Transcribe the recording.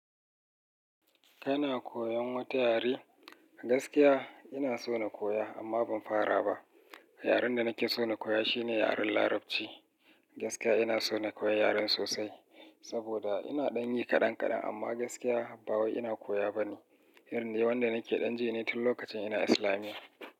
Kana koyan wata yare? Gaskiya ina so na koya amma ban fara ba. Yaren da nake so na koya shine yaren Larabci. Gaskiya ina so na koyi yaren sosai saboda ina ɗan yi kaɗan kaɗan amma gaskiya ba wai ina koya bane. Irin ne wanda nake ɗan ji ne tun lokacin ina Islamiyya.